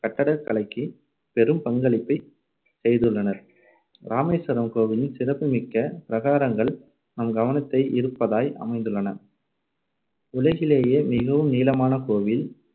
கட்டடக் கலைக்குப் பெரும் பங்களிப்பைச் செய்துள்ளனர். இராமேஸ்வரம் கோவிலின் சிறப்புமிக்க பிரகாரங்கள் நம் கவனத்தை ஈர்ப்பதாய் அமைந்துள்ளன உலகிலேயே மிகவும் நீளமான கோவில்